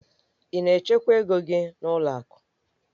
Ị na-echekwa ego gị n'ụlọ akụ?